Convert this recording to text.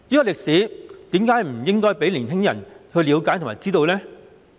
為何不讓年輕人知道及了解這段歷史呢？